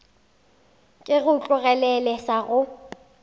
ke go tlogelele sa go